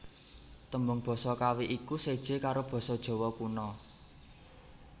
Tembung basa Kawi iku séjé karo basa Jawa Kuna